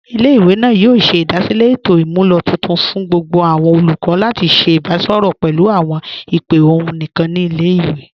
Ilẹ̀-ìwé náà yóò ṣẹ̀ idasílẹ̀ ètò imúlọ̀ tuntun fún gbogbo awọn olùkọ̀ lati ṣẹ̀ ìbàṣọrọ pẹ̀lú awọn ìpè ọ̀hun níkan ni ilẹ̀-ìwé.